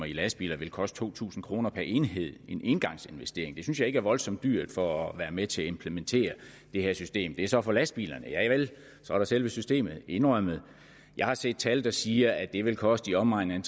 i lastbiler vil koste to tusind kroner per enhed en engangsinvestering hvilket jeg ikke synes er voldsomt dyrt for at være med til at implementere det her system det er så for lastbilerne javel og så er der selve systemet indrømmet jeg har set tal der siger at det vil koste i omegnen